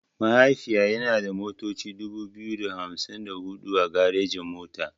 Mahaifiya yana da motoci dubu biyu da hamsin da huɗu a garejin mota.